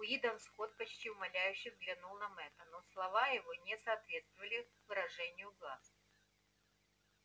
уидон скотт почти умоляюще взглянул на мэтта но слова его не соответствовали выражению глаз